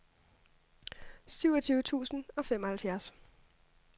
syvogtyve tusind og femoghalvfjerds